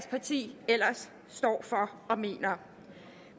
parti ellers står for og mener